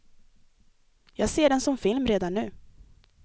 Jag ser den som film redan nu.